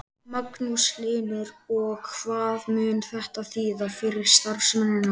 Magnús Hlynur: Og hvað mun þetta þýða fyrir starfsemina?